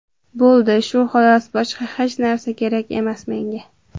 Bo‘ldi, shu xolos, boshqa hech narsa kerak emas menga.